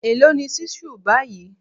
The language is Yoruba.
Èló ni ṣísù báyìí?